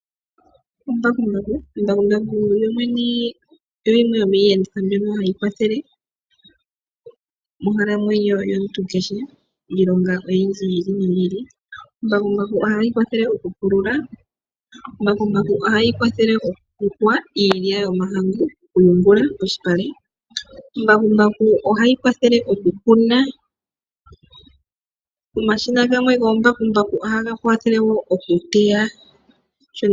Embakumbaku lyolyene olyo limwe lyomiiyenditho mbyoka hayi kwathele monkalamwenyo yomuntu kehe miilonga oyindji yi ili noyi ili. Embakumbaku ohali kwathele okupulula, ohali kwathele okuyungula iilya yomahangu polupale nohali kwathele okukuna. Omashina gamwe goombakumbaku ohaga kwathele wo okuteya.